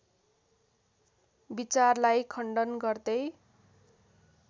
विचारलाई खण्डन गर्दै